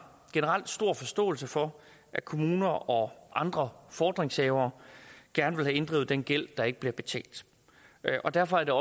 stor forståelse for at kommuner og andre fordringshavere gerne vil have inddrevet den gæld der ikke bliver betalt derfor er